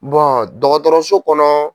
dɔgɔtɔrɔso kɔnɔ